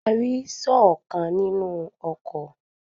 A rí sọ́ọ̀ kan ní inú oko.